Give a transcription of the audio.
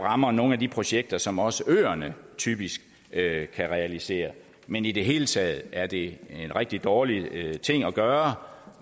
rammer nogle af de projekter som også øerne typisk kan kan realisere men i det hele taget er det en rigtig dårlig ting at gøre